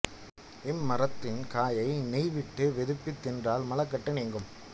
இம்மரத்தின் காயை நெய் விட்டு வெதுப்பித் தின்றால் மலக்கட்டு நீங்கும்